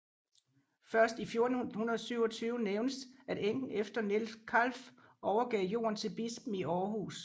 Først i 1427 nævnes at enken efter Niels Kalf overgav gården til bispen i Århus